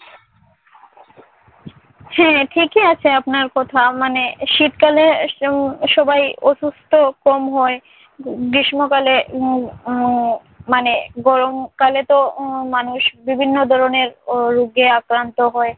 হ্যাঁ ঠিকই আছে আপনার কথা মানে শীতকালে স~ সবাই অসুস্থ কম হয়। গ্রীষ্মকালে উহ উহ মানে গরমকালেতো মানুষ বিভিন্ন ধরনের উহ রোগে আক্রান্ত হয়।